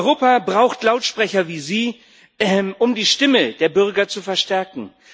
Europa braucht Lautsprecher wie Sie, um die Stimme der Bürger zu verstärken.